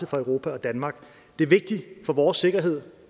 for europa og danmark det er vigtigt for vores sikkerhed